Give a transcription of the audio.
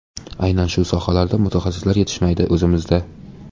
Aynan shu sohalarda mutaxassislar yetishmaydi o‘zimizda.